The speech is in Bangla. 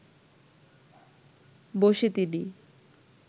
বসে তিনি